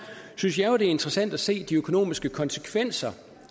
synes jeg det er interessant at se de økonomiske konsekvenser